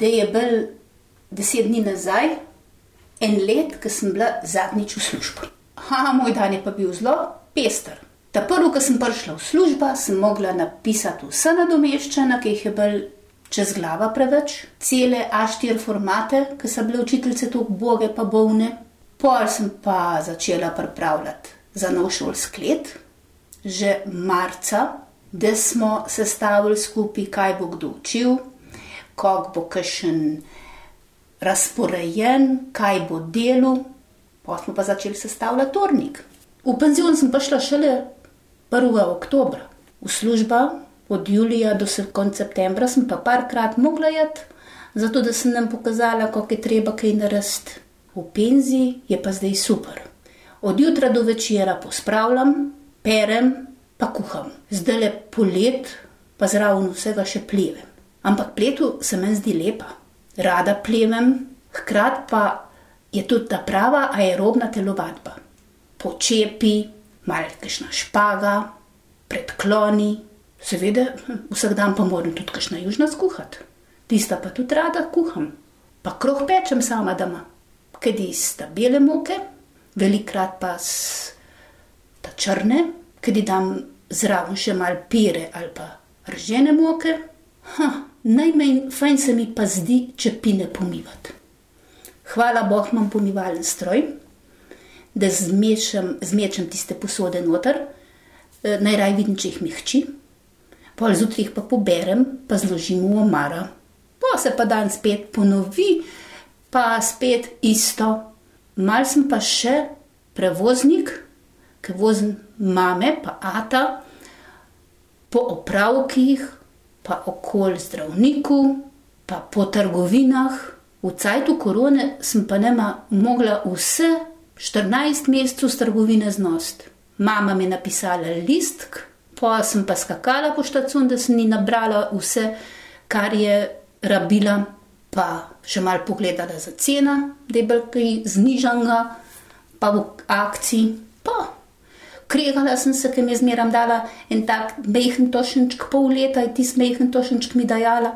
Da je bilo deset dni nazaj eno leto, ko sem bila zadnjič v službi. moj dan je pa bil zelo pester. Ta prvo, ke sem prišla v služba, sem mogla napisati vsa nadomeščanja, ki jih je bilo čez glava preveč. Cele Aštiri formate, ke so bile učiteljice tako uboge pa bolne. Pol sem pa začela pripravljati za novo šolsko leto že marca, da smo sestavili skupaj, kaj bo kdo učil, kako bo kakšen razporejen, kaj bo delal, pol smo pa začeli sestavljati urnik. V penzion sem pa šla šele prvega oktobra. V služba od julija do konec septembra sem pa parkrat mogla iti, zato da sem njim pokazala, kako je treba kaj narediti. V penziji je pa zdaj super. Od jutra do večera pospravljam, perem pa kuham. Zdajle poleti pa zraven vsega še plevem. Ampak pletev se meni zdi lepa. Rada plevem, hkrati pa je tudi ta prava aerobna telovadba. Počepi, malo kakšna špaga, predkloni, seveda vsak dan pa moram tudi kakšna južina skuhati. Tista pa tudi rada kuham. Pa kruh pečem sama doma. Kdaj iz ta bele moke velikokrat pa ta črne, kdaj dam zraven še malo pire ali pa ržene moke. najmanj fajn se mi pa zdi čepine pomivati. Hvala bog, imam pomivalni stroj, da zmešam, zmečem tiste posode noter, najraje vidim, če jih mi hči. Pol zjutraj jih pa poberem pa zložim v omaro. Pol se pa dan spet ponovi pa spet isto. Malo sem pa še prevoznik, ke vozim mame pa ata po opravkih, pa okoli zdravniku, pa po trgovinah. V cajtu korone sem pa nama mogla vse štirinajst mesecev s trgovine znositi. Mama mi je napisala en listek pol sem pa skakala po štacuni, da sem ji nabrala vse, kar je rabila pa še malo pogledala za cena, da je bilo kaj znižanega pa v akciji pa. Kregala sem se, ker mi je zmeraj dala en tak majhen tošenček, pol leta je tisti majhen tošenček mi dajala.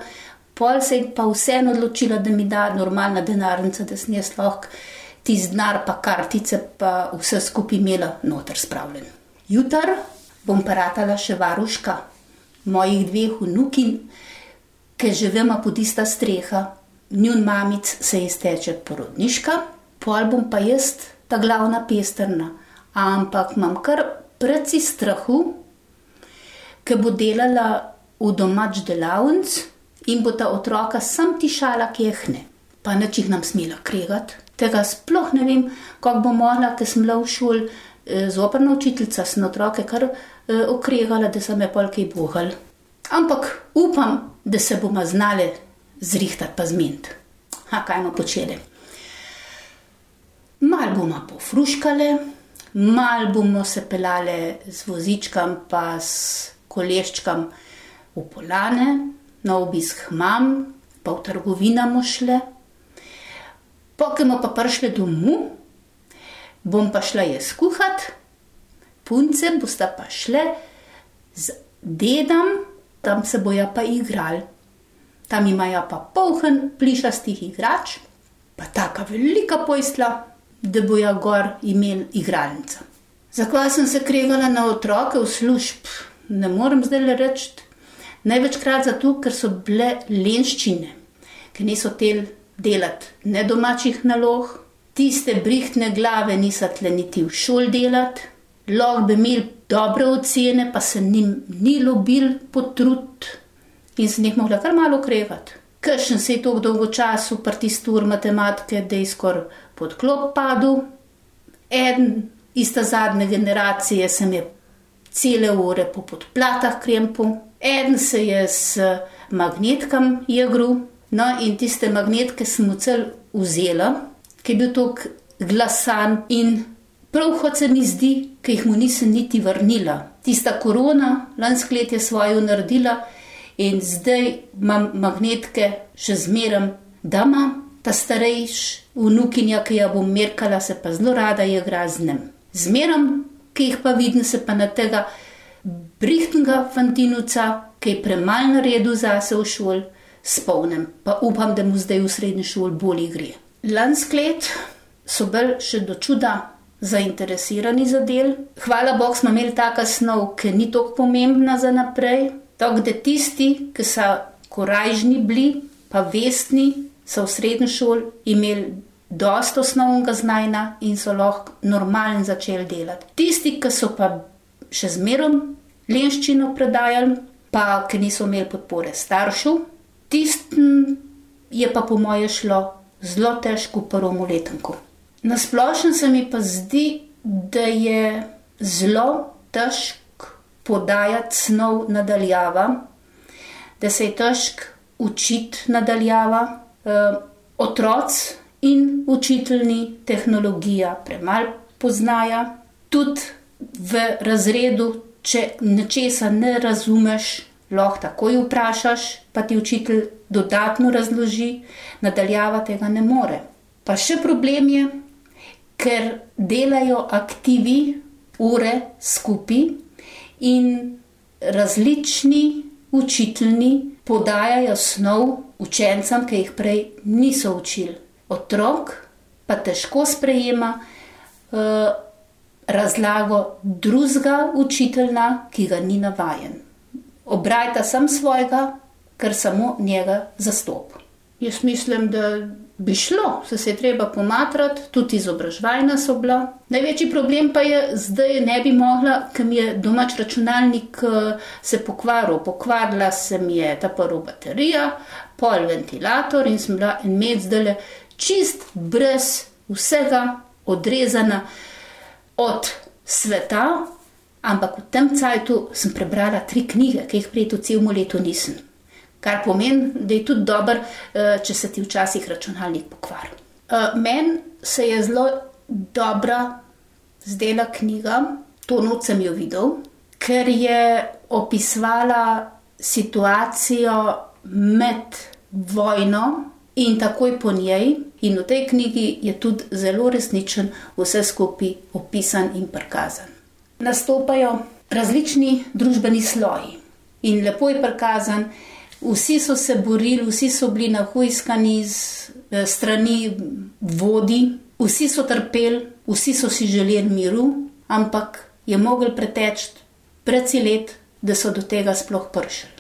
Pol se je pa vseeno odločila, da mi da normalna denarnica, da sem jaz lahko tisti denar pa kartice pa vse skupaj imela noter spravljeno. Jutri bom pa ratala še varuška. Mojih dveh vnukinj, ker živimo pod ista streha. Njuni mamici se izteče porodniška, pol bom pa jaz ta glavna pestrna. Ampak imam kar precej strahu, ke bo delala v domači delavnici, in bosta otroka samo tišala tja k njej. Pa nič jih ne bom smela kregati. Tega sploh ne vem, kako bom mogla, ko sem bila v šoli, zoprna učiteljica, sem otroke kar, okregala, da so me pol kaj ubogali. Ampak upam, da se bomo znale zrihtati pa zmeniti. kaj bomo počele? Malo bomo pofruštkale, malo bomo se peljale z vozičkom pa s koleščkom v Poljane na obisk k mami. Pa v trgovina bomo šle. Pol, ke bomo pa prišle domov, bom pa šla jaz kuhat, punce bosta pa šle z dedom, tam se bojo pa igrali. Tam imajo pa polno plišastih igrač pa taka velika postelja, da bojo gor imel igralnica. Zakaj sem se kregala na otroke v službi? Ne morem zdajle reči. Največkrat zato, ker so bile lenščine. Ke niso hoteli delati ne domačih nalog, tiste brihtne glave niso hotele niti v šoli delati, lahko bi imel dobre ocene, pa se njim ni ljubilo potruditi. In sem jih mogla kar malo okregati. Kakšen se je toliko dolgočasil pri tisti uri matematike, da je skoraj pod klop padel. Eden iz ta zadnje generacije se mi je cele ure po podplatih krempal, eden se mi je z magnetkom igral, no, in tiste magnetke sem mu celo vzela, ke je bil tako glasen in prav hudo se mi zdi, ke mu jih nisem niti vrnila. Tista korona lansko leto je svoje naredila in zdaj imam magnetke še zmeraj doma, ta starejša vnukinja, ke jo bom merkala, se pa zelo rada igra z njimi. Zmerom, ke jih pa vidim, se pa na tega brihtnega fantinovca, ki je premalo naredil zase v šoli, spomnim pa upam, da mu zdaj v srednji šoli bolje gre. Lansko leto so bili še do čuda zainteresirani za del, hvala bogu, smo imeli taka snov, ki ni toliko pomembna za naprej, tako da tisti, ke so korajžni bili pa vestni, so v srednji šoli imeli dosti osnovnega znanja in so lahko normalno začeli delati. Tisti, ki so pa še zmerom lenščino prodajali pa ki niso imeli podpore staršev, tistim je pa po moje šlo zelo težko v prvem letniku. Na splošno se mi pa zdi, da je zelo težko podajati snov na daljava, da se je težko učiti na daljava, otroci in učitelji tehnologija premalo poznajo. Tudi v razredu, če nečesa ne razumeš, lahko takoj vprašaš, pa ti učitelj dodatno razloži, na daljava tega ne more. Pa še problem je, ker delajo aktivi ure skupaj in različni učitelji podajajo snov učencem, ki jih prej niso učili. Otrok pa težko sprejema, razlago drugega učitelja, ki ga ni navajen. Obrajta samo svojega, ker samo njega zastopi. Jaz mislim, da bi šlo, saj se je treba pomatrati, tudi izobraževanja so bila. Največji problem pa je, zdaj ne bi mogla, ke mi je domači računalnik, se pokvaril, pokvarila se mi je ta prvo baterija, pol ventilator in sem bila en mesec zdajle čisto brez vsega odrezana od sveta. Ampak v tem cajtu sem prebrala tri knjige, ke jih prej v celem letu nisem. Kar pomeni, da je tudi dobro, če se ti včasih računalnik pokvari. meni se je zelo dobra zdela knjiga To noč sem jo videl. Ker je opisovala situacijo med vojno in takoj po njej. In v tej knjigi je tudi zelo resnično vse skupaj opisano in prikazano. Nastopajo različni družbeni sloji. In lepo je prikazano, vsi so se borili, vsi so bili nahujskani z, s strani vodij, vsi so trpeli, vsi so si želeli miru, ampak je moglo preteči precej let, da so do tega sploh prišli.